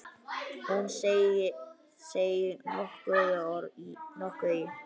Hún seig nokkuð í.